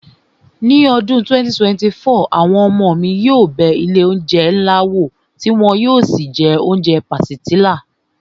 Ní ọdún 2024, àwọn ọmọ mi yóò bẹ ilé oúnjẹ ńlá wò tí wọn yóò sì jẹ oúnjẹ pàsìtílà